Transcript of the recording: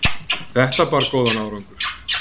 Þetta bar góðan árangur.